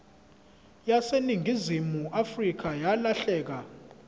yaseningizimu afrika yalahleka